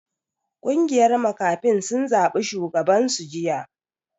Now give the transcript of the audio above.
Kungiyar makafin sun zabi shugaban su jiya.